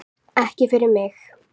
Ekki fyrir mig